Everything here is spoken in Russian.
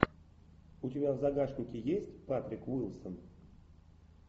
у тебя в загашнике есть патрик уилсон